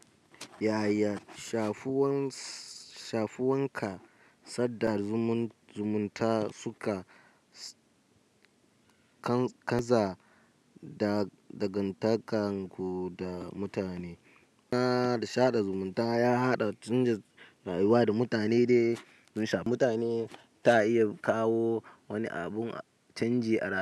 Yaya shafuwanka sadar zumunta suka kaza da dangantakarku da mutane? Na sada zumunta ya haɗa canji rayuwa da mutane de, munsha mutane ta iya kawo wani abun canji a rayuwa.